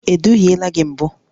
E duhiela gị mbụ?